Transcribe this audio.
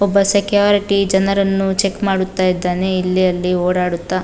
ಒಬ್ಬ ಸೆಕ್ಯೂರಿಟಿ ಜನರನ್ನು ಚೆಕ್ ಮಾಡುತ್ತ ಇದ್ದಾನೆ ಇಲ್ಲಿ ಅಲ್ಲಿ ಓಡಾಡುತ್ತ --